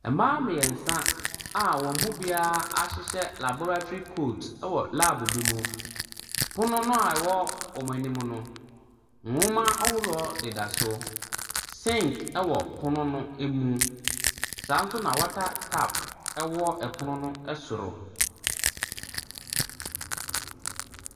Mmaa mmiɛnsa a wɔn mu biara ahyehyɛ laboratory coat wɔ lab bi mu. Pono a ɛwɔ wɔn anim no, nwoma ahoroɔ deda so. Sink wɔ pono no mu. Saa ara nso na wata tap wɔ pono no soro.